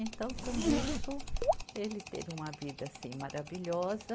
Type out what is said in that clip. Então, com isso, ele teve uma vida, assim, maravilhosa.